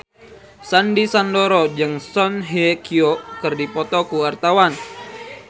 Sandy Sandoro jeung Song Hye Kyo keur dipoto ku wartawan